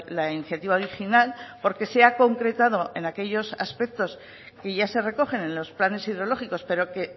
la iniciativa original porque se ha concretado en aquellos aspectos que ya se recogen en los planes hidrológicos pero que